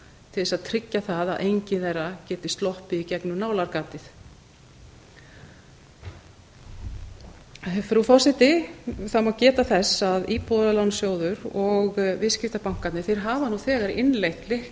til þess að tryggja það að enginn eiga geti sloppið í gegnum nálargatið frú forseti það má geta þess að íbúðalánasjóður og viðskiptabankarnir hafa nú þegar innleitt